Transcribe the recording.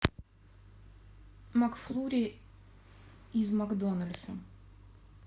макфлури из макдональдса